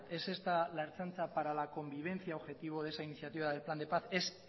es esta la ertzaintza para la convivencia objetivo de esa iniciativa del plan de paz es